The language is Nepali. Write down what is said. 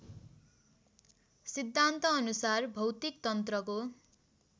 सिद्धान्तानुसार भौतिक तन्त्रको